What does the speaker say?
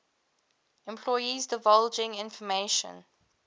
employees divulging information